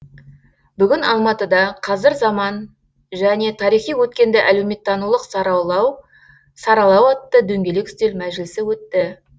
бүгін алматыда қазір заман және тарихи өткенді әлеуметтанулық саралау атты дөңгелек үстел мәжілісі өтті